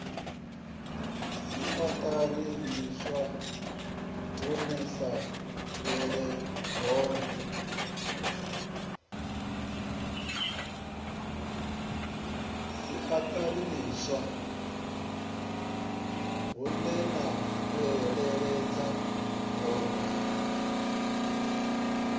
siaṱari ḽiswa huneya fhelela hone